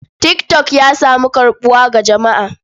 Tik tok ya samu karɓuwa ga jama'a.